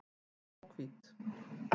Há og hvít.